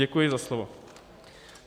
Děkuji za slovo.